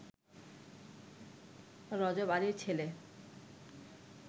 রজব আলীর ছেলে